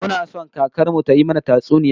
Muna son kakar mu tayi mana tatsuniya